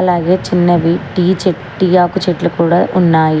అలాగే చిన్నవి టీ చె టీ ఆకు చెట్లు కూడా ఉన్నాయి.